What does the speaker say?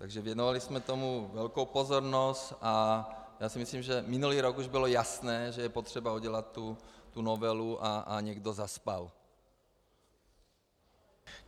Takže věnovali jsme tomu velkou pozornost a já si myslím, že minulý rok už bylo jasné, že je potřeba udělat tu novelu, a někdo zaspal.